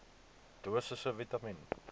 dosisse vitamien